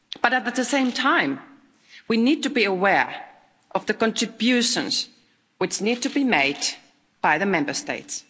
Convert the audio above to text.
But at the same time, we need to be aware of the contributions which need to be made by the Member States.